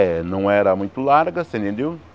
É, não era muito larga, você entendeu?